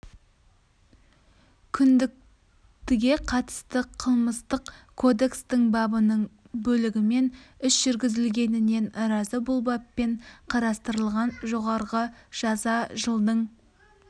күдіктіге қатысты қылмыстық кодекстің бабының бөлігімен іс жүргізілгеніне наразы бұл баппен қарыстылырған жоғарғы жаза жылдың